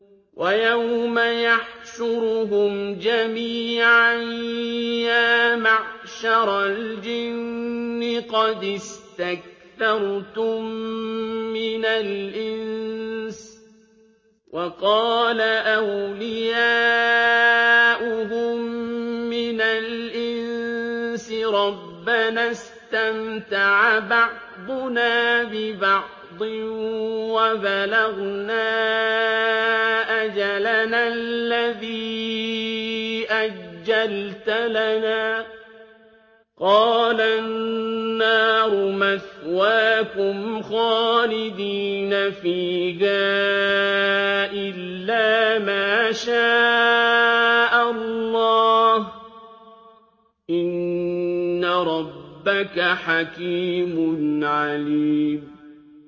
وَيَوْمَ يَحْشُرُهُمْ جَمِيعًا يَا مَعْشَرَ الْجِنِّ قَدِ اسْتَكْثَرْتُم مِّنَ الْإِنسِ ۖ وَقَالَ أَوْلِيَاؤُهُم مِّنَ الْإِنسِ رَبَّنَا اسْتَمْتَعَ بَعْضُنَا بِبَعْضٍ وَبَلَغْنَا أَجَلَنَا الَّذِي أَجَّلْتَ لَنَا ۚ قَالَ النَّارُ مَثْوَاكُمْ خَالِدِينَ فِيهَا إِلَّا مَا شَاءَ اللَّهُ ۗ إِنَّ رَبَّكَ حَكِيمٌ عَلِيمٌ